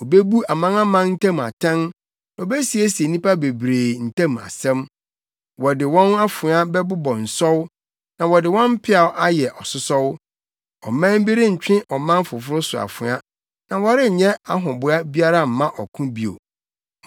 Obebu amanaman ntam atɛn na obesiesie nnipa bebree ntam asɛm. Wɔde wɔn afoa bɛbobɔ nsɔw na wɔde wɔn mpeaw ayɛ asosɔw. Ɔman bi rentwe ɔman foforo so afoa, na wɔrenyɛ ahoboa biara mma ɔko bio.